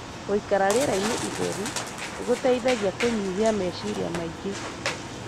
Guikara rĩerainĩ itheru nĩ gũteithagia kũnyihia meciria mangĩ.